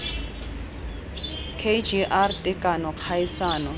k g r tekano kgaisano